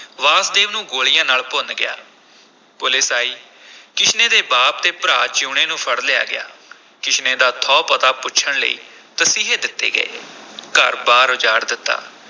ਵਾਸਦੇਵ ਨੂੰ ਗੋਲੀਆਂ ਨਾਲ ਭੁੰਨ ਗਿਆ, ਪੁਲਿਸ ਆਈ ਕਿਸ਼ਨੇ ਦੇ ਬਾਪ ਅਤੇ ਭਰਾ ਜੀਊਣੇ ਨੂੰ ਫੜ ਲਿਆ ਗਿਆ ਕਿਸ਼ਨੇ ਦਾ ਥਹੁ ਪਤਾ ਪੁੱਛਣ ਲਈ ਤਸੀਹੇ ਦਿੱਤੇ ਗਏ ਘਰ-ਬਾਰ ਉਜਾੜ ਦਿੱਤਾ।